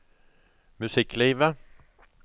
musikklivet